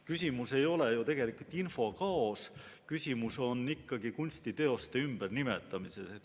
Küsimus ei ole ju tegelikult infokaos, küsimus on kunstiteoste ümbernimetamises.